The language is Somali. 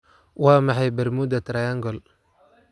waa maxay bermuda triangle